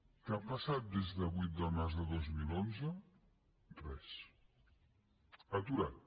què ha passat des del vuit de març del dos mil onze res aturat